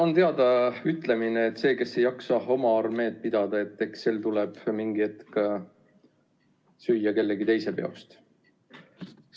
On teada ütlemine, et see, kes ei jaksa oma armeed pidada, eks sel tuleb mingi hetk süüa kellegi teise peost.